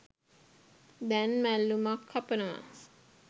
දැන් මැල්ලුමක් කපනවා.